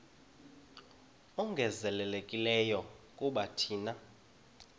ongezelelekileyo kuba thina